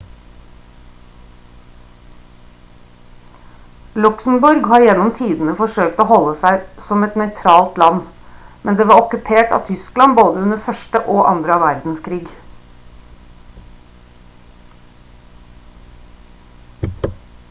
luxembourg har gjennom tidene forsøkt å holde seg som et nøytralt land men det var okkupert av tyskland under både 1. og 2. verdenskrig